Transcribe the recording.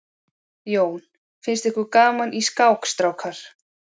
Jón: Finnst ykkur gaman í skák strákar?